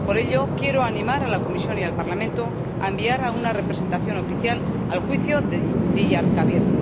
Por ello, quiero animar a la Comisión y al Parlamento a enviar a una representación oficial al juicio de Diyarbakir.